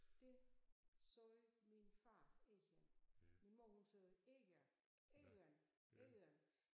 Det sagde min far egern min mor hun sagde egern egern egern